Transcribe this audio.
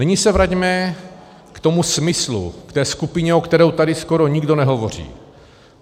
Nyní se vraťme k tomu smyslu, k té skupině, o které tady skoro nikdo nehovoří.